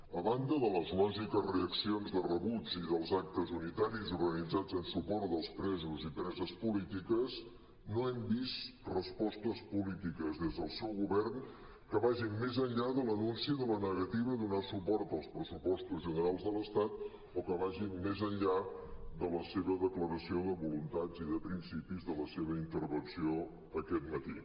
a banda de les lògiques reaccions de rebuig i dels actes unitaris organitzats en suport dels presos i preses polítiques no hem vist respostes polítiques des del seu govern que vagin més enllà de l’anunci de la negativa a donar suport als pressupostos generals de l’estat o que vagin més enllà de la seva declaració de voluntats i de principis de la seva intervenció aquest matí